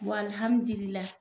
Bɔn alihamidililayi